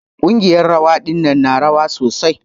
Ƙungiyar rawa ɗinnan na rawa sosai.